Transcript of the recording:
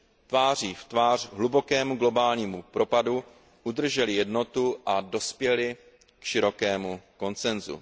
Tváří v tvář hlubokému globálnímu propadu udrželi jednotu a dospěli k širokému konsensu.